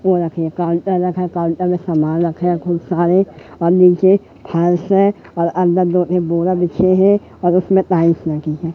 Counter रखा है counter में सामान रखा है खूब सारे और नीचे फाइल्स हैं और अंदर दो बोरा बिछे हैं और उसमें टाईल्स लगी है।